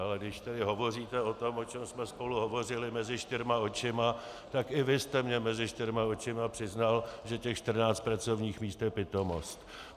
Ale když tady hovoříte o tom, o čem jsme spolu hovořili mezi čtyřma očima, tak i vy jste mi mezi čtyřma očima přiznal, že těch 14 pracovních míst je pitomost.